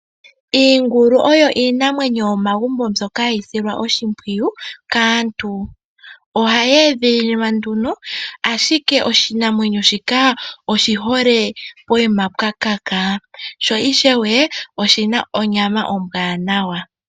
Iingulu oyo iinamwenyo yomegumbo mbyoka hayi silwa oshimpwiyu kaantu. Ohayi edhililwa nduno, ashike oshinamwenyo shika oshihole pokuma pwakaka, sho ishewe oshina onyama ombwaanawa.